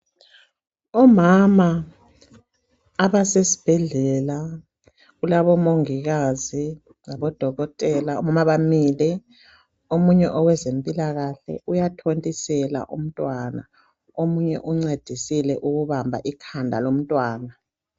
Umama, abasesibhedlela, kulaubomongikazi, labodokotela , kulabamile. Omunye owezempilakahle uyathontisela umntwana, omunye uncedisile ukubamba ikhanda lomntwana.